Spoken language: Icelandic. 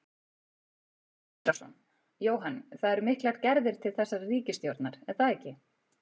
Sindri Sindrason: Jóhann, það eru miklar gerðar til þessarar ríkisstjórnar er það ekki?